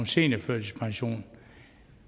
seniorførtidspensionen